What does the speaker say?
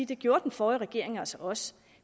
det gjorde den forrige regering altså også